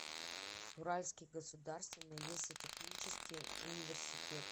уральский государственный лесотехнический университет